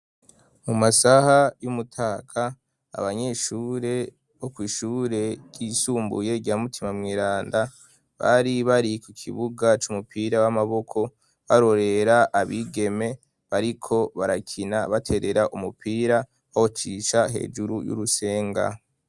mu masaha y'umutaga abanyeshure bo kw'ishure ry'isumbuye rya mutima mweranda bari bari ku kibuga c'umupira w'amaboko barorera abigeme bariko barakina baterera umupira bawucisha hejuru y'urusenga